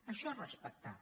això és respectar